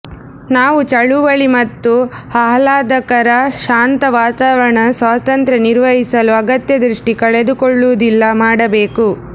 ನಾವು ಚಳುವಳಿ ಮತ್ತು ಆಹ್ಲಾದಕರ ಶಾಂತ ವಾತಾವರಣ ಸ್ವಾತಂತ್ರ್ಯ ನಿರ್ವಹಿಸಲು ಅಗತ್ಯ ದೃಷ್ಟಿ ಕಳೆದುಕೊಳ್ಳುವುದಿಲ್ಲ ಮಾಡಬೇಕು